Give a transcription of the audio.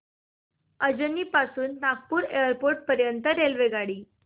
अजनी पासून नागपूर एअरपोर्ट पर्यंत रेल्वेगाडी